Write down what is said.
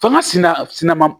F'anga sina sina